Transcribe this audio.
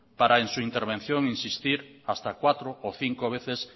para en su intervención insistir hasta cuatro o cinco veces